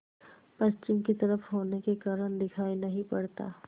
पश्चिम की तरफ होने के कारण दिखाई नहीं पड़ता